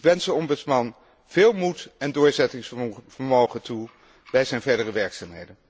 Ik wens de ombudsman veel moed en doorzettingsvermogen toe bij zijn verdere werkzaamheden.